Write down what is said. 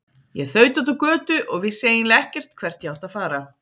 Ég þaut út á götu og vissi eiginlega ekkert hvert ég átti að fara.